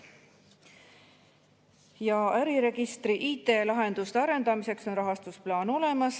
Äriregistri IT‑lahenduste arendamiseks on rahastusplaan olemas.